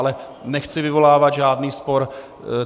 Ale nechci vyvolávat žádný spor.